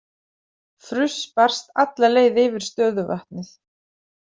Fruss barst alla leið yfir stöðuvatnið.